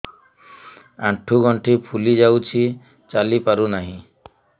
ଆଂଠୁ ଗଂଠି ଫୁଲି ଯାଉଛି ଚାଲି ପାରୁ ନାହିଁ